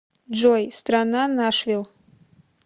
джой страна нашвилл